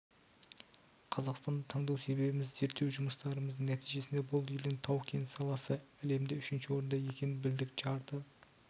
қазақстанды таңдау себебіміз зерттеу жұмыстарымыздың нәтижесінде бұл елдің тау-кен саласы әлемде үшінші орында екенін білдік жарты